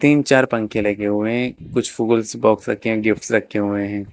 तीन चार पंखे लगे हुए हैं कुछ फूल्स बॉक्स रखे हुए हैं गिफ्ट्स रखे हुए हैं।